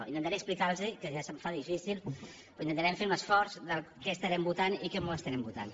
intentaré explicar los que ja se’m fa difícil però intentarem fer un esforç què estarem votant i com ho estarem votant